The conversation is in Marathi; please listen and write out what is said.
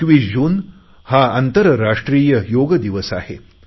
21 जून हा आंतरराष्ट्रीय योग दिवस आहे